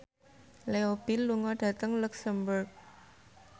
Leo Bill lunga dhateng luxemburg